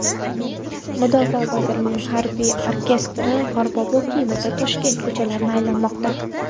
Mudofaa vazirligi harbiy orkestri qorbobo kiyimida Toshkent ko‘chalarini aylanmoqda .